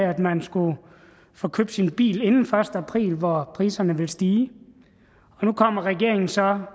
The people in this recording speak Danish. at man skulle få købt sin bil inden den første april hvor priserne vil stige og nu kommer regeringen så